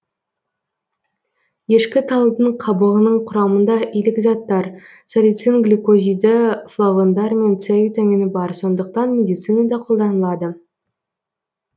ешкіталдың қабығының құрамында илік заттар салицин глюкозиді флавондар мен с витамині бар сондықтан медицинада қолданылады